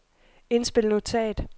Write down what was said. indspil notat